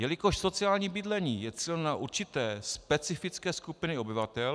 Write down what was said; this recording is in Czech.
Jelikož sociální bydlení je cíleno na určité specifické skupiny obyvatel...